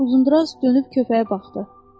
Uzundraz dönüb köpəyə baxdı.